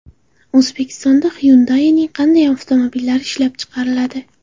O‘zbekistonda Hyundai’ning qanday avtomobillari ishlab chiqariladi?.